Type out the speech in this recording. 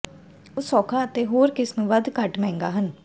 ਉਹ ਸੌਖਾ ਅਤੇ ਹੋਰ ਕਿਸਮ ਵੱਧ ਘੱਟ ਮਹਿੰਗਾ ਹਨ